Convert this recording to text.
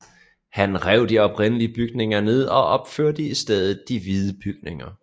Han rev de oprindelige bygninger ned og opførte i stedet de hvide bygninger